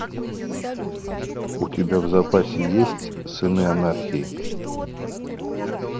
у тебя в запасе есть сыны анархии